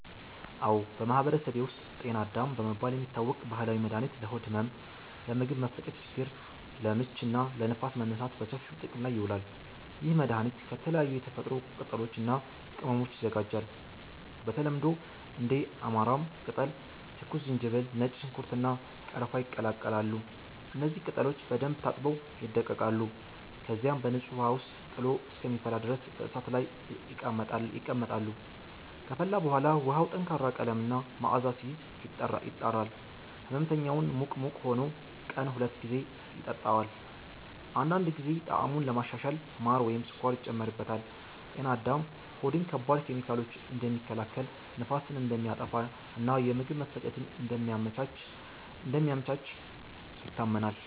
አዎ፣ በማህበረሰቤ ውስጥ “ጤና አዳም” በመባል የሚታወቅ ባህላዊ መድኃኒት ለሆድ ህመም፣ ለምግብ መፈጨት ችግር (ለምች) እና ለንፋስ መነሳት በሰፊው ጥቅም ላይ ይውላል። ይህ መድኃኒት ከተለያዩ የተፈጥሮ ቅጠሎች እና ቅመሞች ይዘጋጃል። በተለምዶ እንደ አማራም ቅጠል፣ ትኩስ ዝንጅብል፣ ነጭ ሽንኩርት፣ እና ቀረፋ ይቀላቀላሉ። እነዚህ ቅጠሎች በደንብ ታጥበው ይደቀቃሉ፣ ከዚያም በንጹህ ውሃ ውስጥ ጥሎ እስከሚፈላ ድረስ በእሳት ላይ ይቀመጣሉ። ከፈላ በኋላ ውሃው ጠንካራ ቀለም እና መዓዛ ሲይዝ፣ ይጣራል። ሕመምተኛው ሙቅ ሙቅ ሆኖ ቀን ሁለት ጊዜ ይጠጣዋል። አንዳንድ ጊዜ ጣዕሙን ለማሻሻል ማር ወይም ስኳር ይጨመርበታል። “ጤና አዳም” ሆድን ከባድ ኬሚካሎች እንደሚከላከል፣ ንፋስን እንደሚያጠፋ እና የምግብ መፈጨትን እንደሚያመቻች ይታመናል።